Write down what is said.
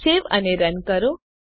સેવ અને રન કરો